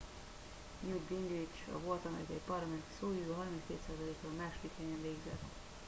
newt gingrich a volt amerikai parlamenti szóvivő 32%-kal a második helyen végzett